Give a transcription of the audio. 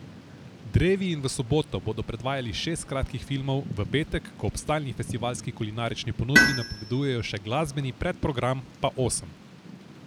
Drevi in v soboto bodo predvajali šest kratkih filmov, v petek, ko ob stalni festivalski kulinarični ponudbi napovedujejo še glasbeni predprogram, pa osem.